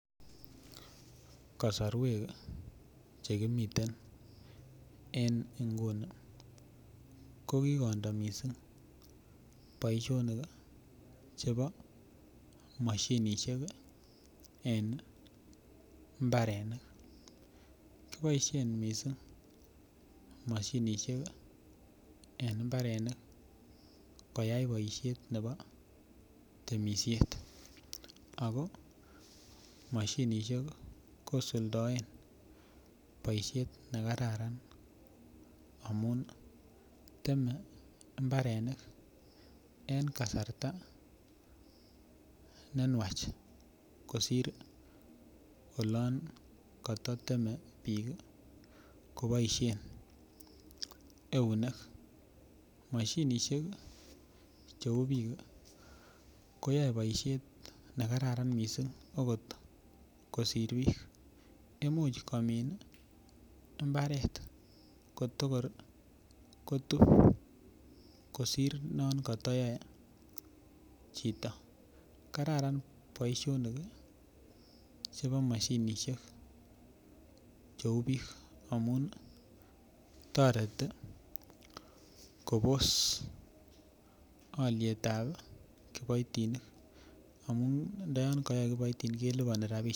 Kasorwek chekimiten en Nguni kokikondo mising boishonik chebo moshinishek en mbarenik kiboishen mising moshinishek en mbarenik koyai boishet nepo temishiet Ako moshinishek kosuldoen boishet nekararan amun teme mbarenik en kasarta nenwach kosir olon kototeme biik kiboishen eunek moshinisheki cheu biiki koyoe boishet nekararan mising akot kosir biik imuch komin mbarenik kotorkotub kosir non kotoyoe chito kararan boishonik chebo moshinishek cheu biik amun toreti Kobos olietabi kiboitinik amun ndoyon koyoe kiboitinik keliponi rapinik